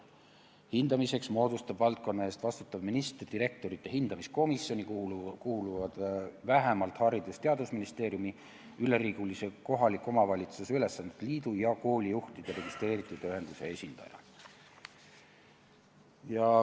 Hindamiseks moodustab valdkonna eest vastutav minister direktorite hindamiskomisjoni, kuhu kuuluvad vähemalt Haridus- ja Teadusministeeriumi, üleriigilise kohaliku omavalitsuse üksuste liidu ja koolijuhtide registreeritud ühenduse esindaja.